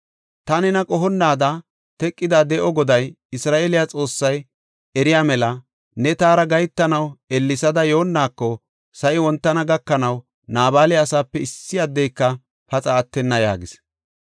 Ta nena qohonnaada teqida de7o Goday, Isra7eele Xoossay eriya mela ne taara gahetanaw ellesada yoonnaako, sa7i wontana gakanaw Naabala asaape issi addeyka paxa attenna” yaagis.